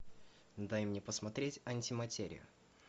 дай мне посмотреть антиматерию